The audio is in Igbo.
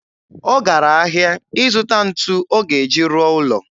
Ọ gara ahịa ịzụta ntu ọ ga-eji rụọ ụlọ.